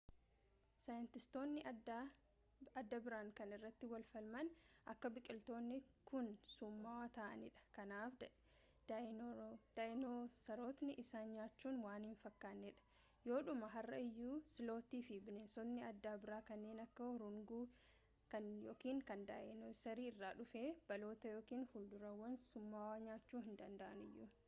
saayintistootni adda biraan kan irratti wal falmaan akka biqilootni kun summaawwa ta’aanidha kanaaf daayinosarootni isaan nyaachun waan hin fakkannee dha yoodhumaa har’a iyyuu slotii fi bineensotni adda bira kanneen akka urunguu kan daayinosarri irraa dhufe baalota yookiin fudurawwan summaawwa nyaachuu danda’aniyyuu